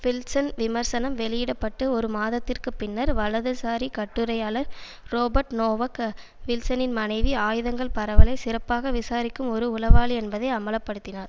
Wilson விமர்சனம் வெளியிட பட்டு ஒரு மாதத்திற்குப் பின்னர் வலதுசாரி கட்டுரையாளர் றொபர்ட் நோவக் வில்சனின் மனைவி ஆயுதங்கள் பரவலை சிறப்பாக விசாரிக்கும் ஒரு உளவாளி என்பதை அம்பல படுத்தினார்